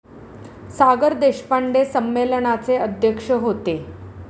सागर देशपांडे संमेलनाचे अध्यक्ष होते.